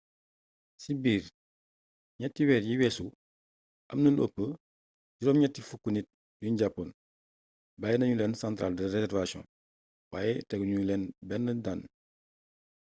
ci biir 3 weer yi weesu amna lu ëpp 80 nit yuñ jàppoon bàyyi nañu leen centrale de réservation waaye tegu ñu leen benn daan